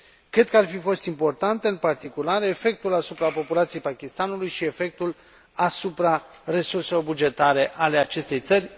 Cred că ar fi fost important, în particular, efectul asupra populației Pakistanului și efectul asupra resurselor bugetare ale acestei țări.